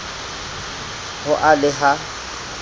ho a le b ha